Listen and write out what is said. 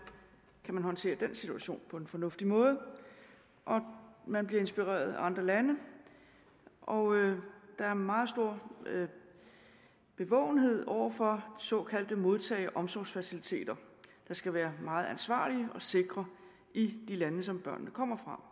man kan håndtere den situation på en fornuftig måde man bliver inspireret af andre lande og der er meget stor bevågenhed over for såkaldte modtage og omsorgsfaciliteter der skal være meget ansvarlige og sikre i de lande som børnene kommer fra